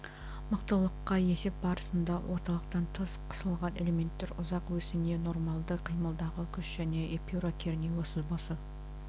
мықтылыққа есеп барысында орталықтан тыс қысылған элементтер ұзақ осіне нормалды қимадағы күш және эпюра кернеуі сызбасы